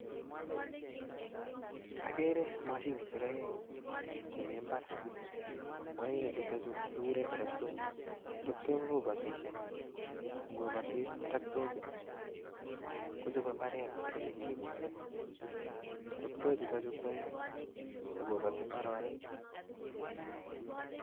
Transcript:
Akere mashinisiek aeng chemi mbar, chutochu kekure toroktook, toroktook kobotishe, ko ngobatis toroktook ii, kochope mbaret ole nyikekole, toroktoo chutochu kwoeng ak koboti mbaronik.